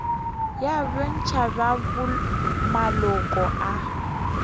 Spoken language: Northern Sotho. ya bontši bja maloko a